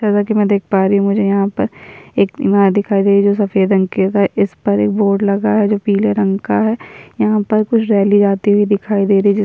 जैसा की मैं देख पा रही हूँ मुझे यहाँ पर एक ईमारत दिखाई दे रही है जो सफेद रंग की है इस पर एक बोर्ड लगा है जो पीले रंग का है यहाँ पर कुछ रैली जाती हुई दिखाई दे रही है जी --